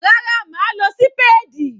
Rárá mà á lo sípáádì.